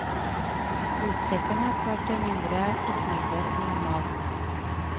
Flystreiken har ført til mindre postmengder enn normalt.